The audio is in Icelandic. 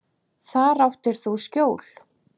Þar áttir þú skjól.